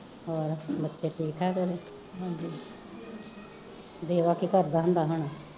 ਹੋਰ ਬੱਚੇ ਠੀਕ ਠਾਕ ਆ ਉਹਦੇ ਦੇਵਾ ਕੀ ਕਰਦਾ ਹੁੰਦਾ ਹੁਣ